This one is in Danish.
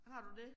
Har du det?